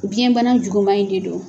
Biyɛn bana juguma in de don